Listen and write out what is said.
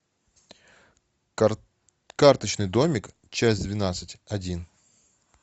карточный домик часть двенадцать один